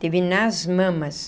Teve nas mamas.